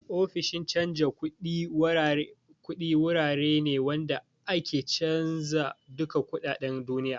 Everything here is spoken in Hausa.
Ofishin canja kuɗi wurare ne wanda ake canja duka kuɗaɗen duniya